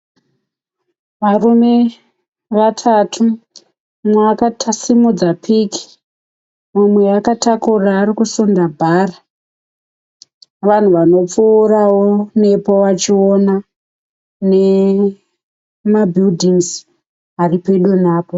Varume vatatu. Mumwe akasimudza piki. Mumwe akatakura ari kusunda bhara, vanhu vanopfuurawo nepo vachiona nema 'buildings' ari pedo napo.